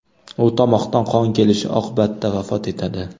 U tomoqdan qon kelishi oqibatida vafot etadi.